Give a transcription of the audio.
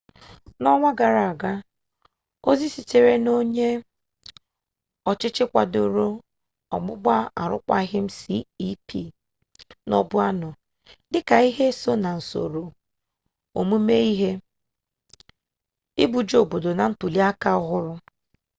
n'ọnwa gara aga ozi sitere n'onye ọchịchị kwadoro ọgbụgba arụkwaghịm cep nọbu anọ dịka ihe so n'usoro omume ihe ibuje obodo na ntuli aka ọhụrụ